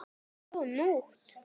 Ó, nótt!